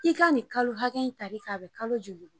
I ka nin kalo hakɛ in ta bi kalo joli bɔ?